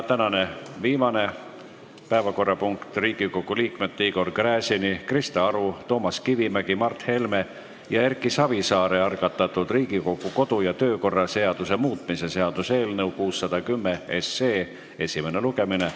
Tänane viimane päevakorrapunkt on Riigikogu liikmete Igor Gräzini, Krista Aru, Toomas Kivimägi, Mart Helme ja Erki Savisaare algatatud Riigikogu kodu- ja töökorra seaduse muutmise seaduse eelnõu 610 esimene lugemine.